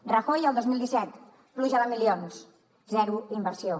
rajoy el dos mil disset pluja de milions zero inversió